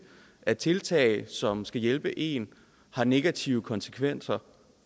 at tiltag som skal hjælpe en har negative konsekvenser